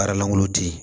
Baara langolo di